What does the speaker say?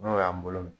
N'o y'an bolo